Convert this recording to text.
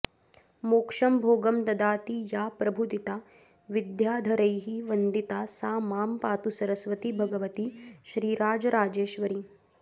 मोक्षं भोगं ददाति या प्रभुदिता विद्याधरैर्वन्दिता सा मां पातु सरस्वती भगवती श्रीराजराजेश्वरी